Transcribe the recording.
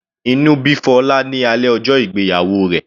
Inú bí Fola ní alẹ́ ọjọ́ ìgbéyàwó rẹ̀.